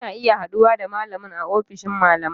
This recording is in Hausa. Kuna iya haɗuwa da malamin a ofishin malamai